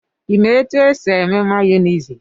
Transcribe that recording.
Ịma etu e si eme mayonisị?